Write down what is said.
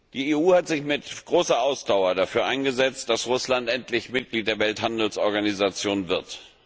Die EU hat sich mit großer Ausdauer dafür eingesetzt, dass Russland endlich Mitglied der Welthandelsorganisation wird.